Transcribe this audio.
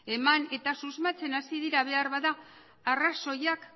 eman eta susmatzen hasi dira behar bada arrazoiak